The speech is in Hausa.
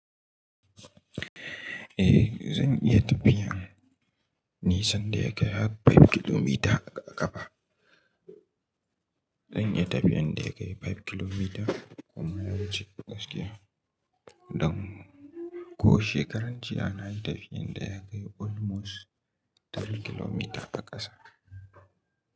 Eh, zan iya tafiyan nisan da ya kai har 5km a ƙafa. Zan iya tafiyan da ya kai 5km kuma yawanci gaskiya don ko shekarar jiya na yi tafiyan da ya kai almost 3km a ƙasa.